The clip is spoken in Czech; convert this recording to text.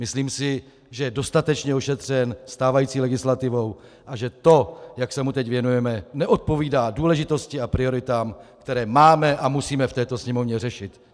Myslím si, že je dostatečně ošetřen stávající legislativou a že to, jak se mu teď věnujeme, neodpovídá důležitosti a prioritám, které máme a musíme v této Sněmovně řešit.